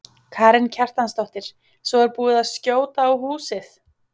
Karen Kjartansdóttir: Svo er búið að skjóta á húsið?